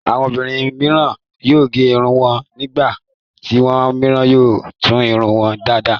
Àwọn obìnrin mìíràn yóò gé irun wọn. Nígbà tí àwọn mìíràn yóò tún irun wọn dá lárà.